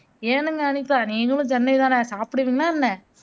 ஏனுங்க அனிதா நீங்களும் சென்னைதானே சாப்புடுவிங்களா என்ன